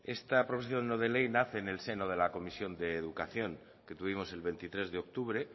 esta proposición no de ley nace en el seno de la comisión de educación que tuvimos el veintitrés de octubre